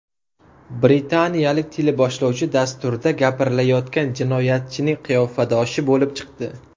Britaniyalik teleboshlovchi dasturda gapirilayotgan jinoyatchining qiyofadoshi bo‘lib chiqdi .